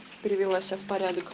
перевела себя в порядок